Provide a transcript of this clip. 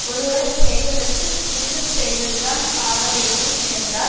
ஒருவர் செய்ததற்குத் திரும்ப செய்வதுதான் ஆக வேண்டும் என்றால்